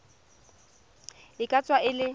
e ka tswa e le